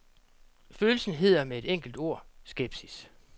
Følelsen hedder med et enkelt ord skepsis.